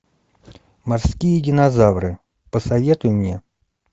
морские динозавры посоветуй мне